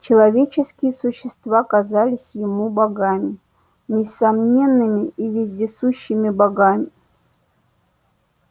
человеческие существа казались ему богами несомненными и вездесущими богами